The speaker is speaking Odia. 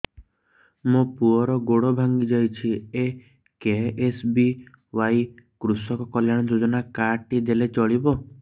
ମୋ ପୁଅର ଗୋଡ଼ ଭାଙ୍ଗି ଯାଇଛି ଏ କେ.ଏସ୍.ବି.ୱାଇ କୃଷକ କଲ୍ୟାଣ ଯୋଜନା କାର୍ଡ ଟି ଦେଲେ ଚଳିବ